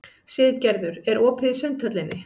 Siggerður, er opið í Sundhöllinni?